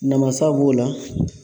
Namasa b'o la